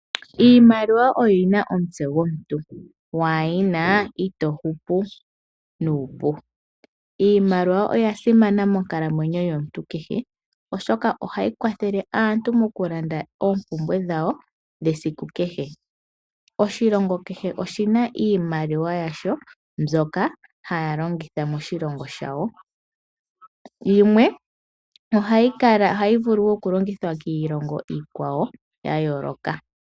Iimaliwa oyina omutse gomuntu, waayina itohupu nuupu. Iimaliwa oyasimana monkalamwenyo yomuntu kehe, oshoka ohayikwathele aantu mokulanda oompumbwe dhawo dhesiku kehe. Oshilongo kehe oshina iimaliwa yasho, mbywoka haalongitha moshilongo shawo yimwe ohayivulu woo okulongithwa kiilongo iikwawo yayooloka.